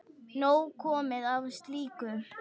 Nóg komið af slíku.